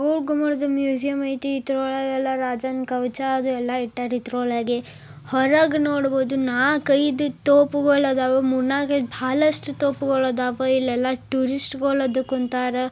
ಇದು ಒಂದು ಮ್ಯೂಸಿಯಂ ಐತಿ ಇದ್ರಲ್ಲಿ ರಾಜನ ಕವಚ ಎಲ್ಲಾ ಇಟ್ಟರೆ. ಇದರ ಒಳಗೇ. ಹೊರಗ್ ನೋಡ್ಬಹುದು ನಾ ಕೈದು ತೋಪುಗಳು ಅದಾವು ಮುರ್ನಾಕ್ ಸಾಕಷ್ಟು ತೋಪುಗಳು ಅದಾವು ಇಲೆಲ್ಲ ಟೂರಿಸ್ಟ್ಗಳ್ ಬಂದ್ ಕುಂತಾರ.